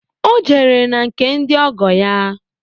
Ọ jere na nke ndị ọgọ ya